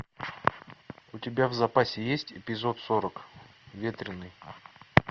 у тебя в запасе есть эпизод сорок ветреный